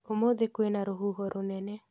Ũmũthĩ kwĩna rũhuho rũnene